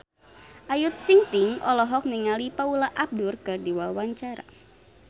Ayu Ting-ting olohok ningali Paula Abdul keur diwawancara